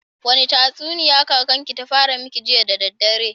Wani tatsuniya kakan ki ta fara miki jiya da daddare?